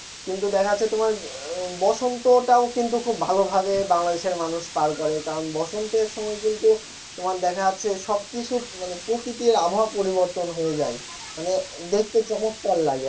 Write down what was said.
কিন্তু দেখা যাচ্ছে তোমার বসন্তটা ও কিন্তু খুব ভালোভাবে বাংলাদেশের মানুষ পার করে কারণ বসন্তের সময় কিন্তু তোমার দেখা যাচ্ছে সবকিছু মানে প্রকৃতির আবহাওয়া পরিবর্তন হয়ে যায় মানে দেখতে চমৎকার লাগে